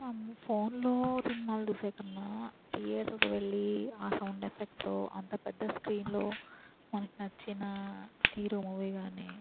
మ్మ ఫోన్ లో సినిమాలు చూసే కన్నా థియేటర్ వెళ్లి ఆ సౌండ్ ఎఫెక్ట్ తో అంత పెద్ద స్క్రీన్ లో మనకు నచ్చిన హీరో మూవీ కానీ --